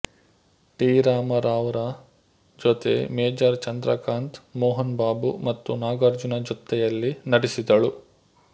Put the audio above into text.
T Rama Rao ರ ಜೊತೆ major Chandrakanth Mohan Babu ಮತ್ತು ನಾಗಾರ್ಜುನ ಜೊತ್ತೆಯಲ್ಲಿ ನಟಿಸಿದಳು